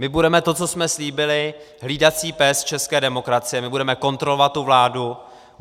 My budeme to, co jsme slíbili, hlídací pes české demokracie, my budeme kontrolovat tu vládu.